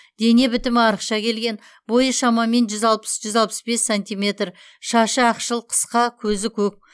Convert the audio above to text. дене бітімі арықша келген бойы шамамен жүз алпыс жүз алпыс бес сантиметр шашы ақшыл қысқа көзі көк